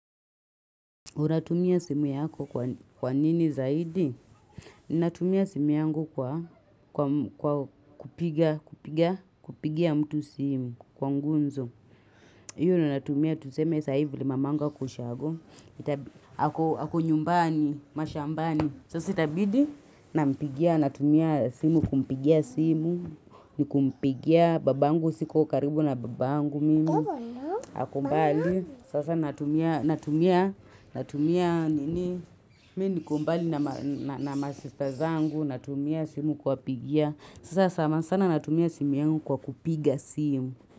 Unatumia simu yako kwa nini zaidi? Ninatumia simu yangu kwa kupigia mtu simu kwa gumzo. Hiyo ninatumia tuseme sahi vile mamangu ako ushago. Ako nyumbani, mashambani. Sasa itabidi, nampigia natumia simu kumpigia simu. Ni kumpigia babangu siko karibu na babangu mimi. Ako mbali, sasa natumia, natumia, natumia, nini, mimi niko mbali na masista zangu, natumia simu kuwapigia. Sasa sana sana natumia simu yangu kwa kupiga simu.